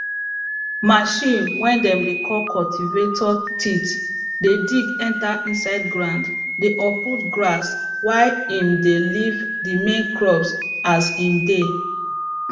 machine way dem dey call cultivator teeth dey dig enter inside ground dey uproot grass while em dey leave the main crop as em dey